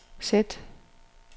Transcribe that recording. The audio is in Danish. sæt